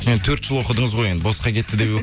енді төрт жыл оқыдыңыз ғой енді босқа кетті деп